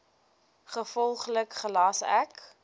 gevolglik gelas ek